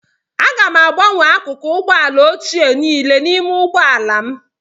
Aga m agbanwe akụkụ ụgbọ ala ochie niile n'ime ụgbọ ala m